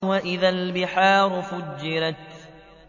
وَإِذَا الْبِحَارُ فُجِّرَتْ